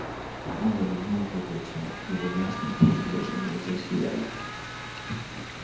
он заглянул ей в лицо его ясные простодушные глаза сияли